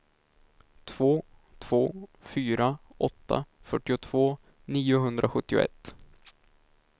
två två fyra åtta fyrtiotvå niohundrasjuttioett